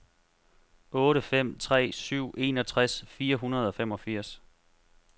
otte fem tre syv enogtres fire hundrede og femogfirs